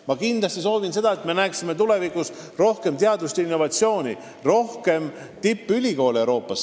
Ma kindlasti soovin seda, et me näeksime tulevikus rohkem teadustööd ja innovatsiooni, rohkem tippülikoole Euroopas.